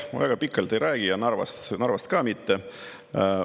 Ma väga pikalt ei räägi ja Narvast ka mitte.